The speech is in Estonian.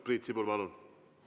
Priit Sibul, palun!